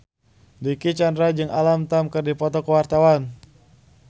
Dicky Chandra jeung Alam Tam keur dipoto ku wartawan